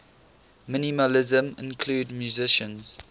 minimalism include musicians